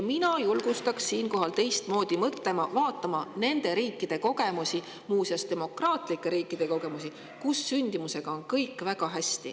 Mina julgustaks siinkohal teistmoodi mõtlema, vaatama muuseas demokraatlike riikide kogemusi, kus sündimusega on kõik väga hästi.